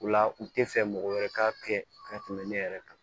O la u tɛ fɛ mɔgɔ wɛrɛ ka kɛ ka tɛmɛ ne yɛrɛ kan